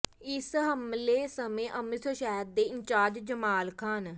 ਇਸ ਹਮਲੇ ਸਮੇਂ ਅੰਮ੍ਰਿਤਸਰ ਸ਼ਹਿਰ ਦੇ ਇੰਚਾਰਜ ਜਮਾਲ ਖਾਨ